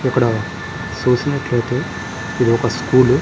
ఇక్కడ చూసినట్టు అయితే ఇది ఒక స్కూల్ .